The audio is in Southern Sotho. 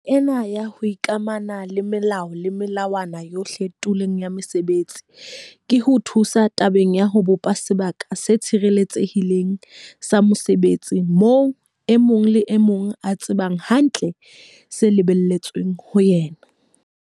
Taba ena ya ho ikamahanya le melao le melawana yohle tulong ya mosebetsi ke ho thusa tabeng ya ho bopa sebaka se tshireletsehileng sa mosebetsi moo e mong le e mong a tsebang hantle se lebelletsweng ho yena.